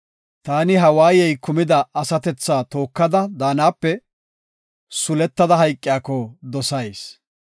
Taani ha waayey kumida asatethaa tookada daanape, suletada hayqiyako dosayis.